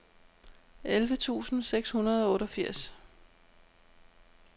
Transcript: elleve tusind seks hundrede og otteogfirs